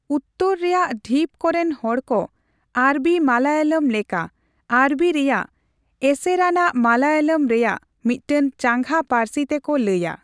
ᱩᱛᱛᱚᱨ ᱨᱮᱭᱟᱜ ᱰᱷᱤᱯ ᱠᱚᱨᱮᱱ ᱦᱚᱲᱠᱚ ᱟᱨᱵᱤ ᱢᱟᱞᱟᱭᱟᱞᱚᱢ ᱞᱮᱠᱟ ᱟᱨᱵᱤ ᱨᱮᱭᱟᱜ ᱮᱥᱮᱨᱟᱱᱟᱜ ᱢᱟᱞᱟᱭᱟᱞᱚᱢ ᱨᱮᱭᱟᱜ ᱢᱤᱫᱴᱮᱱ ᱪᱟᱸᱜᱟ ᱯᱟᱹᱨᱥᱤ ᱛᱮᱠᱚ ᱞᱟᱹᱭᱟ ᱾